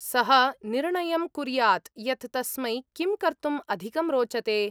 सः निर्णयं कुर्यात् यत् तस्मै किं कर्तुम् अधिकं रोचते।